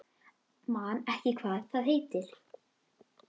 Man ekki hvað það heitir.